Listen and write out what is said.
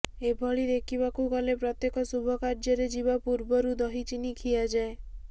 ଏଭଳି ଦେଖିବାକୁ ଗଲେ ପ୍ରତ୍ୟେକ ଶୁଭକାର୍ଯ୍ୟରେ ଯିବା ପୂର୍ବରୁ ଦହି ଚିନି ଖିଆଯାଏ